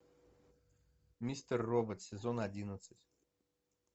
мистер робот сезон одиннадцать